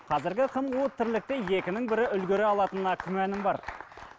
қазіргі қым қуыт тірлікті екінің бірі үлгере алатынына күмәнім бар